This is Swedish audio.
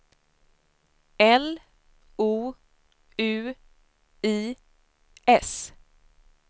L O U I S